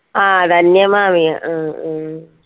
ആ ധന്യമാവിയ ആഹ് ഉം